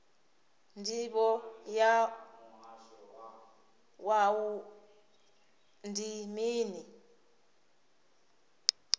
ndivho ya wua ndi mini